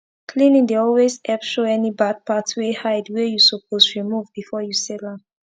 cleaning dey always epp show any bard part wey hide wey u suppose remove before u sell am